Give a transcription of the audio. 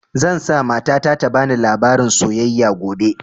Zan sa mata na ta bani labarin soyayya gobe